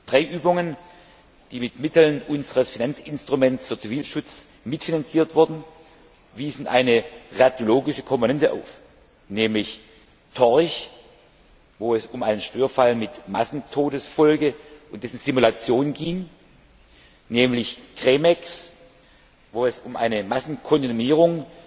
Drei Übungen, die mit Mitteln unseres Finanzinstruments für Zivilschutz mitfinanziert wurden, wiesen eine radiologische Komponente auf, nämlich TORCH, wo es um einen Störfall mit Massentodesfolge und dessen Simulation ging, CREMEX, wo es um eine Massenkontaminierung